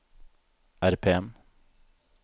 RPM